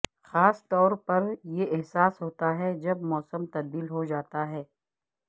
خاص طور پر یہ احساس ہوتا ہے جب موسم تبدیل ہوجاتا ہے